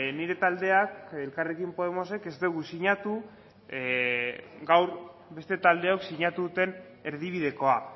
nire taldeak elkarrekin podemosek ez dugu sinatu gaur beste taldeok sinatu duten erdibidekoa